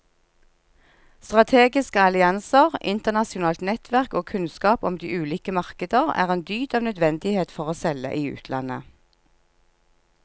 Strategiske allianser, internasjonalt nettverk og kunnskap om de ulike markeder er en dyd av nødvendighet for å selge i utlandet.